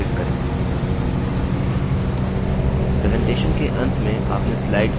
presentation के अंत में आपने स्लाइड की एक कॉपी बना ली है